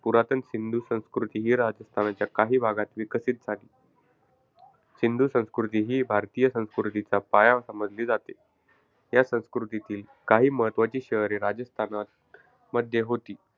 पुरातन सिंधू संस्कृती ही राजस्थानच्या काही भागात विकसित झाली होती. सिंधू संस्कृती ही भारतीय संस्कृतीचा पाया समजली जाते. या संस्कृतीतील काही महत्त्वाची शहरे राजस्थानात मध्ये होती.